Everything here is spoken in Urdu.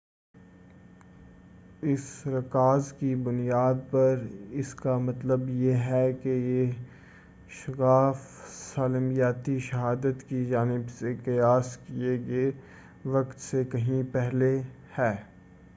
اس رکاز کی بُنیاد پر اس کا مطلب یہ ہے کہ یہ شگاف سالماتی شہادت کی جانب سے قیاس کیے گئے وقت سے کہیں پہلے ہے